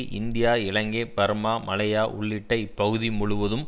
India Ilangai Burma Malaya உள்ளிட்ட இப்பகுதி முழுவதும்